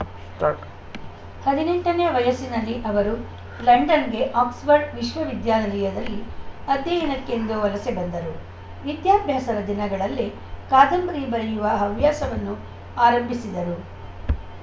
start ಹದಿನೆಂಟನೇ ವಯಸ್ಸಿನಲ್ಲಿ ಅವರು ಲಂಡನ್‌ಗೆ ಆಕ್ಸ್‌ಫರ್ಡ್‌ ವಿವಿಯಲ್ಲಿ ಅಧ್ಯಯನಕ್ಕೆಂದು ವಲಸೆ ಬಂದರು ವಿದ್ಯಾಭ್ಯಾಸದ ದಿನಗಳಲ್ಲೇ ಕಾದಂಬರಿ ಬರೆಯುವ ಹವ್ಯಾಸವನ್ನು ಆರಂಭಿಸಿದರು